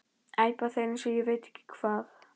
æpa þeir eins og ég veit ekki hvað.